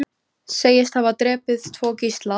Segist hafa drepið tvo gísla